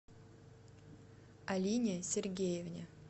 алине сергеевне